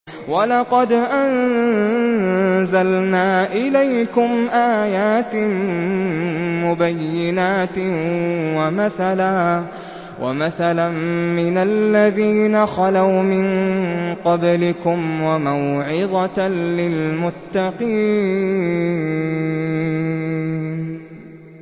وَلَقَدْ أَنزَلْنَا إِلَيْكُمْ آيَاتٍ مُّبَيِّنَاتٍ وَمَثَلًا مِّنَ الَّذِينَ خَلَوْا مِن قَبْلِكُمْ وَمَوْعِظَةً لِّلْمُتَّقِينَ